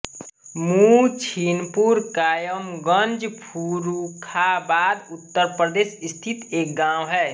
मुहद्दीनपुर कायमगंज फर्रुखाबाद उत्तर प्रदेश स्थित एक गाँव है